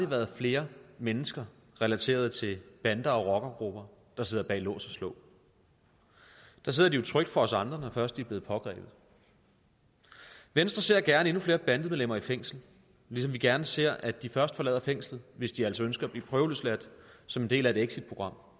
været flere mennesker relateret til bander og rockergrupper der sidder bag lås og slå der sidder de jo trygt for os andre når først de er blevet pågrebet venstre ser gerne endnu flere bandemedlemmer i fængsel ligesom vi gerne ser at de først forlader fængslet hvis de altså ønsker at blive prøveløsladt som en del af et exitprogram